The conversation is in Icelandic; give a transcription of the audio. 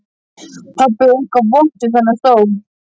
Það var eitthvað vont við þennan stól.